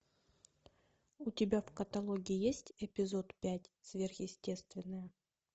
у тебя в каталоге есть эпизод пять сверхъестественное